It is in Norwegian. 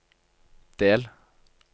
del